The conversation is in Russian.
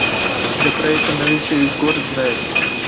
да про это наличие весь город знает